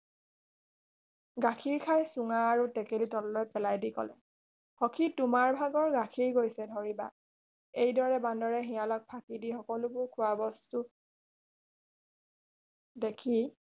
গাখীৰ খাই চুঙা আৰু টেকেলি পেলায় দি কলে সখী তোমাৰ ভাগৰ গাখীৰ গৈছে ধৰিবা এইদৰে বান্দৰে শিয়ালক ফাকি সকলোবোৰ খোৱা বস্তু দেখি